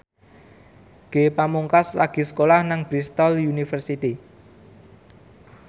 Ge Pamungkas lagi sekolah nang Bristol university